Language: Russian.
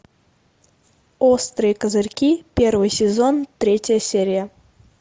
острые козырьки первый сезон третья серия